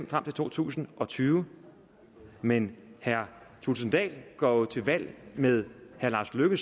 frem til to tusind og tyve men herre thulesen dahl går jo til valg med herre lars løkke